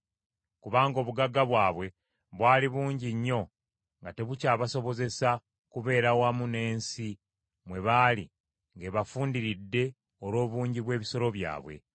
Kubanga obugagga bwabwe bwali bungi nnyo nga tebukyabasobozesa kubeera wamu n’ensi mwe baali ng’ebafundiridde olw’obungi bw’ebisolo byabwe.